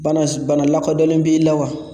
Bana s bana lakodɔnlen b'i la wa?